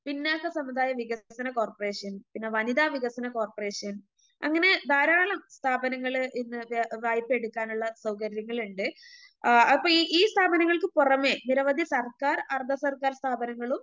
പിന്നോക്ക സമുദായ വികസന കോർപ്പറേഷൻ പിന്നെ വനിതാ വികസന കോർപ്പറേഷൻ അങ്ങനെ ധാരാളം സ്ഥാപനങ്ങള് ഇന്ന് കേ വായ്‌പയെടുക്കാനുള്ള സൗകര്യങ്ങള് ഇണ്ട്.അപ്പൊ ഈ സ്ഥാപനങ്ങൾക്ക് പുറമെ നിരവധി സർക്കാർ അർദ്ധസർക്കാർ സ്ഥാപനങ്ങളും